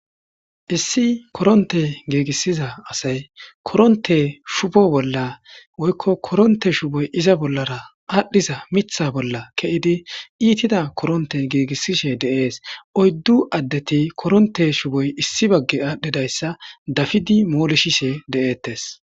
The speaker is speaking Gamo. issi koronte giigissiza asay koronte shubo bolla woykko koronte shuboy iza bollara aadhdhiza mitha bolla ke7idi iitida koronte giigissishe deees oyddu addeti koronte shuboy issi bagge aadhdhidayssa dafidi moolishishe de7eettes